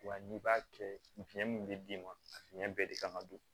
Wa n'i b'a kɛ fiyɛn min bɛ d'i ma a fiɲɛ bɛɛ de kan ka don